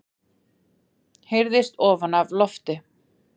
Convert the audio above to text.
heyrðist ofan af lofti.